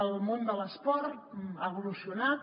el món de l’esport ha evolucionat